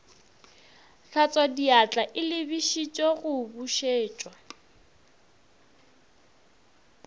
hlatswadiatla e lebišitše go bušetša